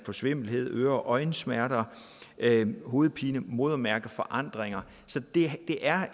svimmelhed øre og øjensmerter hovedpine modermærkeforandringer så det er